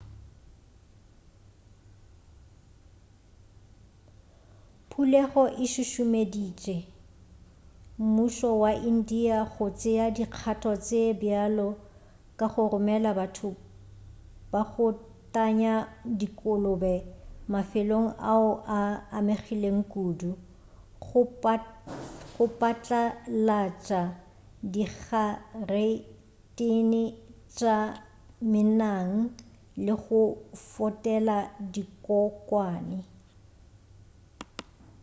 phulego e šušumeditše mmušo wa india go tšea dikgatho tše bjalo ka go romela batho ba go tanya dikolobe mafelong ao a amegilego kudu go patlalatša digaretene tša menang le go fotela dikokwane